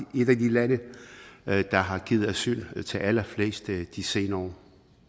et af de lande der har givet asyl til allerflest i de senere